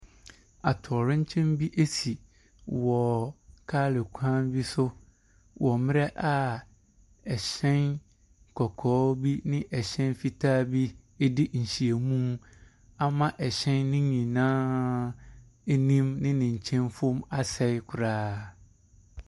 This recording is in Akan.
Atowerɛnkyɛm bi asi wɔ kaale kwan bi so wɔ mmerɛ a hyɛn kɔkɔɔ bi ɛne hyɛn fitaa bi adi nhyiamu ama hyɛn ne nyinaa anim ɛne ne nkyɛnfam asɛe koraa.